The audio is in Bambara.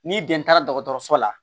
Ni den taara dɔgɔtɔrɔso la